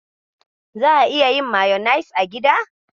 Za'a iya yin mayanis a gida.